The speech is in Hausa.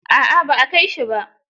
A'a ba a kai shi ba.